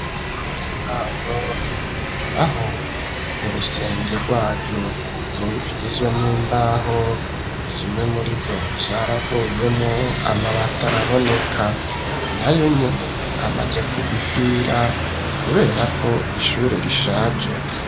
Ngimango aho urusenge rwaro ruri vyizwe n'imbaho zimwe muri zo vyaravuyemwo amabata araboneka na yo nyene amaje ku gufira, kubera ko ishure rishaje.